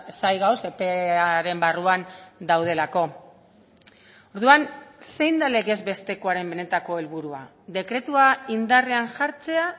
zain gaude epearen barruan daudelako orduan zein da legez bestekoaren benetako helburua dekretua indarrean jartzea